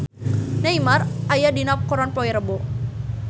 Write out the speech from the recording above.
Neymar aya dina koran poe Rebo